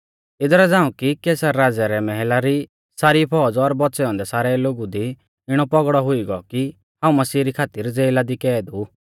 इदरा झ़ांऊ कि कैसर राज़ै रै मैहला री सारी फौज़ और बौच़ै औन्दै सारै लोगु दी इणौ पौगड़ौ हुई गौ कि हाऊं मसीह री खातिर ज़ेला दी कैद ऊ